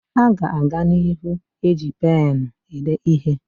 A ga-aga n'ihu eji penụ ede ihe.